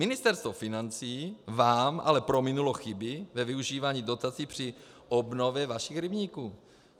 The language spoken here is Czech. Ministerstvo financí vám ale prominulo chyby ve využívání dotací při obnově vašich rybníků.